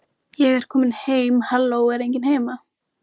Í Hvammi voru sextán manns í heimili.